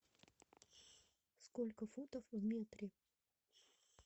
сколько футов в метре